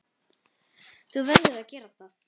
Þú verður að gera það.